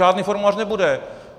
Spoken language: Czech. Žádný formulář nebude.